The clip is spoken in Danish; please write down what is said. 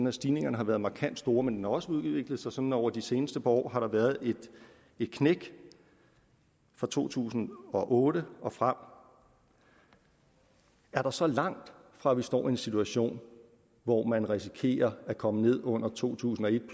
at stigningerne har været markant store men også udviklet sig sådan over det seneste par år har været et knæk fra to tusind og otte og frem er der så langt fra at vi står i en situation hvor man risikerer at komme ned under to tusind og et